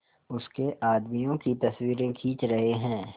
उसके आदमियों की तस्वीरें खींच रहे हैं